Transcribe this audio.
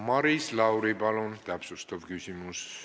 Maris Lauri, palun täpsustav küsimus!